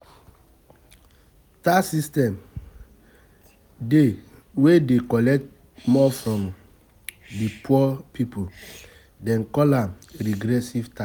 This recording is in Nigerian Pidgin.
Tax system dey wey dey collect more from the poor people, dem call am regressive tax